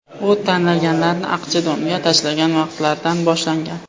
U tangalarni aqchadonga tashlagan vaqtlardan boshlangan.